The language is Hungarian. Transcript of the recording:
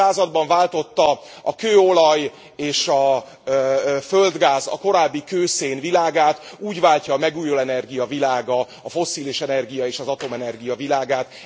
20. században váltotta a kőolaj és a földgáz a korábbi kőszén világát, úgy váltja a megújuló energia világa a fosszilis energia és az atomenergia világát.